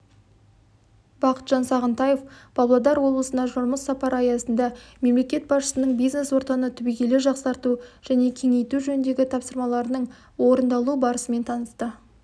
бақытжан сағынтаев павлодар облысына жұмыс сапары аясында мемлекет басшысының бизнес ортаны түбегейлі жақсарту және кеңейту жөніндегі тапсырмаларының орындалу барысымен танысты